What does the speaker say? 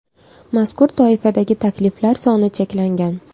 Mazkur toifadagi takliflar soni cheklangan.